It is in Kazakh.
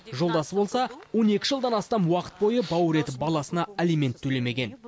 жолдасы болса он екі жылдан астам уақыт бойы бауыр еті баласына алимент төлемеген